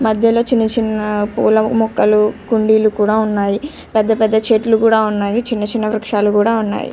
మధ్యలో చిన్న చిన్న పూల మొక్కలు కుండీలు కూడా ఉన్నాయి. పెద్ద పెద్ద చెట్లు కూడా ఉన్నాయి. చిన్న చిన్న వృక్షాలు కూడా ఉన్నాయి.